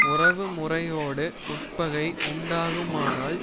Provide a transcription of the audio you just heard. உறவு முறையோடு உட்பகை உண்டாகுமானால்